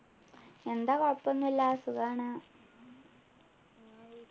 എന്താ കുഴപ്പൊന്നും ഇല്ല സുഖാണ്